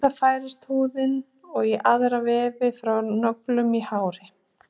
Við það færist húðin og aðrir vefir frá nöglum og hári.